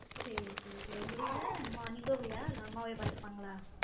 சேரி சேரி உ ங்க வீட்ல நீ போவிய இல்ல அம்மாவே பாத்துப்பாங்கலா